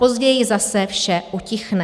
Později zase vše utichne.